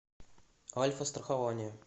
альфастрахование